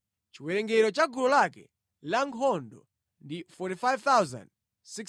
Chiwerengero cha gulu lake lankhondo ndi 45,650.